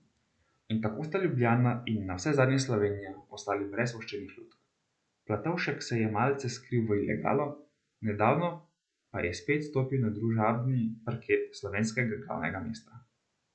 In tako sta Ljubljana in navsezadnje Slovenija ostali brez voščenih lutk, Platovšek se je malce skril v ilegalo, nedavno pa je spet stopil na družabni parket slovenskega glavnega mesta.